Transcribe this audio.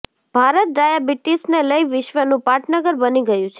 ભારત ડાયાબીટીશને લઈ વિશ્ર્વનું પાટનગર બની ગયું છે